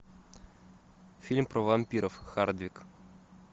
фильм про вампиров хардвик